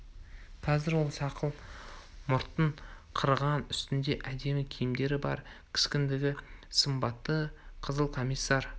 қазір ол сақал мұртын қырған үстінде әдемі киімдері бар кескінді сымбатты қызыл комиссар